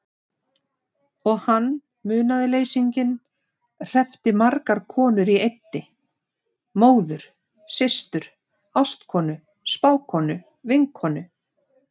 Og hann, munaðarleysinginn, hreppti margar konur í einni: móður systur ástkonu spákonu vinkonu.